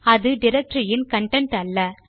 அது டைரக்டரி இன் கன்டென்ட் அல்ல